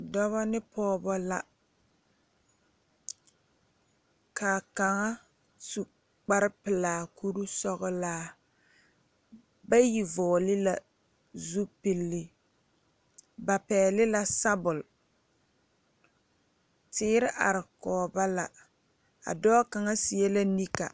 Dɔbɔ be pɔɔbɔ la kaa kaŋa su kpare pelaa kuri sɔglaa bayi vɔgle la zupile ba pɛgle la sabul teere are kɔge ba la a dɔɔ kaŋa seɛ la nika.